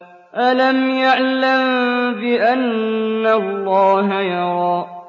أَلَمْ يَعْلَم بِأَنَّ اللَّهَ يَرَىٰ